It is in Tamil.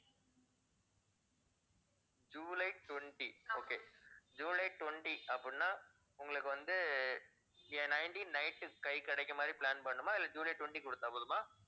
ஜூலை twentyokay ஜூலை twenty அப்படின்னா உங்களுக்கு வந்து nineteen night உ கைக்குக் கிடைக்கிற மாதிரி plan பண்ணனுமா இல்ல ஜூலை twenty கொடுத்தா போதுமா?